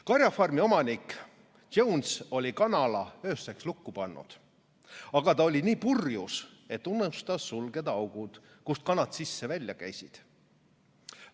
"Karjafarmi omanik Jones oli kanala ööseks lukku pannud, aga ta oli nii purjus, et unustas sulgeda augud, kust kanad sisse-välja käivad.